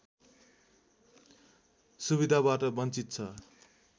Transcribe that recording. सुविधाबाट बञ्चित छ